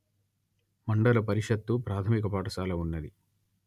మండల పరిషత్తు ప్రాథమిక పాఠశాల ఉన్నది